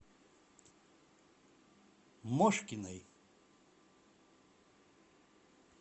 мошкиной